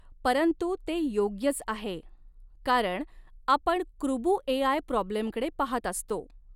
परंतु ते योग्यच आहे कारण आपण कृबु एआय प्रॉब्लेमकडे पहात आहोत.